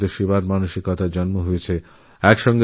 তিনি লঙ্গরখানা চালু করে মানুষের মধ্যে সেবাব্রতের সঞ্চার করেছেন